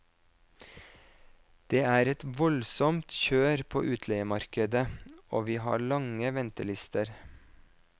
Det er et voldsomt kjør på utleiemarkedet, og vi har lange ventelister.